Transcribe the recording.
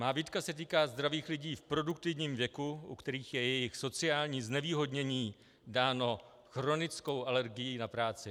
Má výtka se týká zdravých lidí v produktivním věku, u kterých je jejich sociální znevýhodnění dáno chronickou alergií na práci.